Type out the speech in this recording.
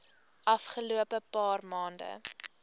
afgelope paar maande